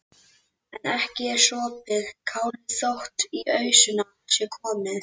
En ekki er sopið kálið þótt í ausuna sé komið.